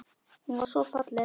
Hún var svo falleg.